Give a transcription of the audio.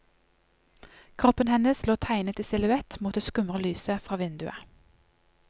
Kroppen hennes lå tegnet i silhuett mot det skumre lyset fra vinduet.